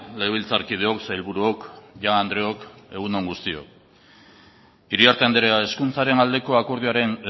legebiltzarkideok sailburuok jaun andreok egun on guztiok iriarte andrea hezkuntzaren aldeko akordioaren